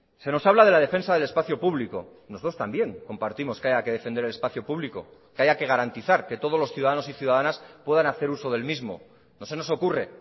se nos habla de la defensa del espacio público nosotros también compartimos que haya que defender el espacio público que haya que garantizar que todos los ciudadanos y ciudadanas puedan hacer uso del mismo no se nos ocurre